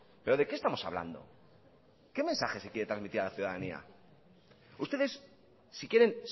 pero de qué estamos hablando qué mensaje se quiere transmitir a la ciudadanía ustedes si quieren